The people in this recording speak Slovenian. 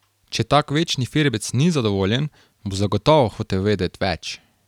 Če tak večni firbec ni zadovoljen, bo zagotovo hotel vedet več.